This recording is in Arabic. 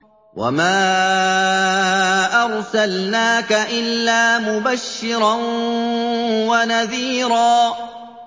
وَمَا أَرْسَلْنَاكَ إِلَّا مُبَشِّرًا وَنَذِيرًا